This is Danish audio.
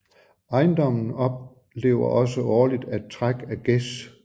Ejendommen oplever også årligt at træk af gæs